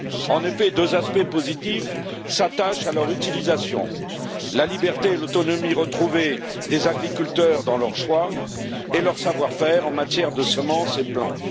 En effet, deux aspects positifs se rattachent à leur utilisation la liberté et l'autonomie retrouvées des agriculteurs dans leur choix et leur savoir faire en matière de semences et plants.